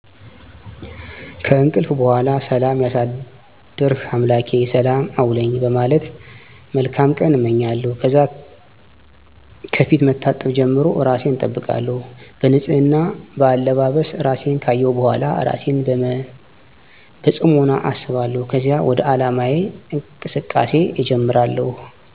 ከእንቅልፍ በሗላ ሠላም ያሳደርሕ አምላኬ ሰላም አውለኝ በማለት መልካም ቀን አመኛለሁ። ከዛ ከፊት መታጠብ ጀምሮ እራሴን አጠብቃለሁ። በንፅህና፣ በአለባበስ፣ እራሴን ካየሁ በሗላ እራሴን በፅሞና አስባለሁከዚያ ወደ ዓላማየ እንቅስቃሴ እጀምራሐሁ።